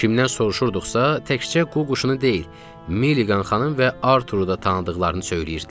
Kimdən soruşurduqsa, təkcə qu quşunu deyil, Milligan xanım və Arturu da tanıdıqlarını söyləyirdilər.